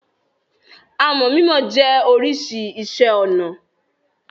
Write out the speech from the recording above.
Àmọ̀ mímọ jẹ́ oríṣi iṣẹ́-ọnà.